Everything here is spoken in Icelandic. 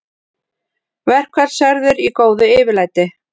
Verkfallsverðir í góðu yfirlæti